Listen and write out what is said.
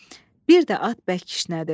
Bir də at bərk kişnədi.